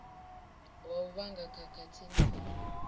wa u vhanga khakhathi na